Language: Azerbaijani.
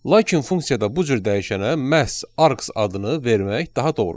Lakin funksiyada bu cür dəyişənə məhz arks adını vermək daha doğrudur.